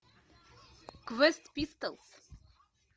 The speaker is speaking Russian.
квест пистолс